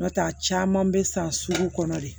N'o tɛ a caman bɛ san sugu kɔnɔ de